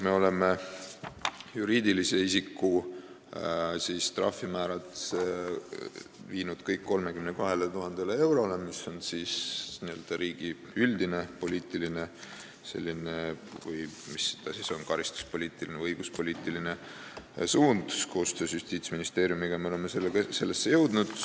Me oleme juriidilise isiku trahvimäärad viinud kõik 32 000 eurole, mis on riigi üldine karistuspoliitiline või õiguspoliitiline suund, koostöös Justiitsministeeriumiga oleme selleni jõudnud.